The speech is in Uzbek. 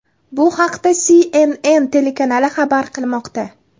Bu haqda CNN telekanali xabar qilmoqda .